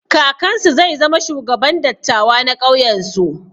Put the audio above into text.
Kakansu zai zama shugaban dattawa na ƙauyen su.